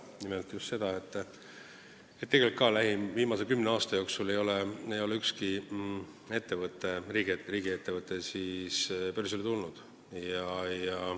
Nimelt just seda, et tegelikult ei ole viimase kümne aasta jooksul ükski riigiettevõte börsile läinud.